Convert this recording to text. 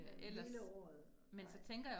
Men hele året, nej